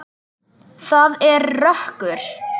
Það er rökkur.